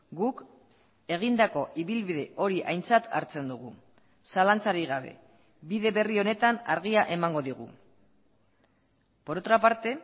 guk egindako ibilbide hori aintzat hartzen dugu zalantzarik gabe bide berri honetan argia emango digu por otra parte